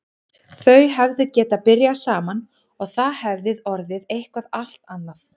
Þau hefðu getað byrjað saman og það hefði orðið eitthvað allt annað.